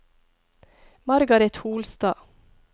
Margaret Holstad